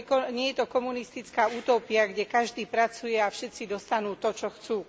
Nie je to komunistická utópia, kde každý pracuje a všetci dostanú to, čo chcú.